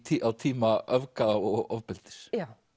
á tíma öfga og ofbeldis